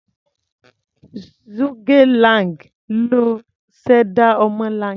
Zhuge Liang ló ṣẹ̀dá ọmọlanke.